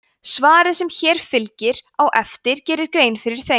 svarið sem hér fylgir á eftir gerir grein fyrir þeim